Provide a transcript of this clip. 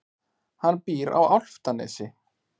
Hann býr á Álftanesi.